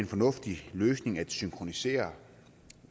sige